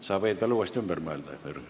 Sa võid veel uuesti ümber mõelda, Jürgen.